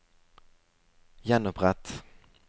gjenopprett